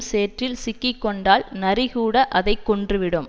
சேற்றில் சிக்கி கொண்டால் நரி கூட அதை கொன்றுவிடும்